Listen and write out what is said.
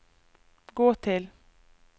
gå til